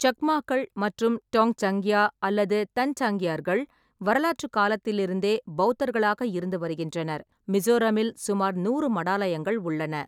சக்மாக்கள் மற்றும் டோங்சாங்யா அல்லது தன்சாங்கியர்கள் வரலாற்றுக் காலத்திலிருந்தே பெளத்தர்களாக இருந்து வருகின்றனர், மிசோரமில் சுமார் நூறு மடாலயங்கள் உள்ளன.